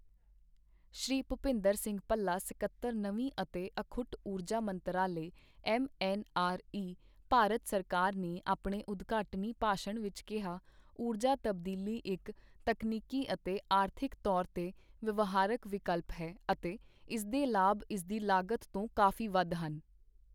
ਸ਼੍ਰੀ ਭੁਪਿੰਦਰ ਸਿੰਘ ਭੱਲਾ, ਸਕੱਤਰ, ਨਵੀਂ ਅਤੇ ਅਖੁੱਟ ਊਰਜਾ ਮੰਤਰਾਲੇ ਐੱਮਐੱਨਆਰਈ, ਭਾਰਤ ਸਰਕਾਰ ਨੇ ਆਪਣੇ ਉਦਘਾਟਨੀ ਭਾਸ਼ਣ ਵਿੱਚ ਕਿਹਾ, ਊਰਜਾ ਤਬਦੀਲੀ ਇੱਕ ਤਕਨੀਕੀ ਅਤੇ ਆਰਥਿਕ ਤੌਰ ਤੇ ਵਿਵਹਾਰਕ ਵਿਕਲਪ ਹੈ ਅਤੇ ਇਸਦੇ ਲਾਭ ਇਸਦੀ ਲਾਗਤ ਤੋਂ ਕਾਫ਼ੀ ਵੱਧ ਹਨ।